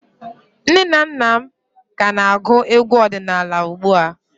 Nne na nna m ka na-agụ egwu ọdịnala ugbu a